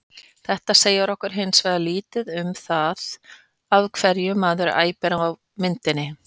Þetta segir okkur hins vegar lítið um það af hverju maðurinn æpir á myndinni.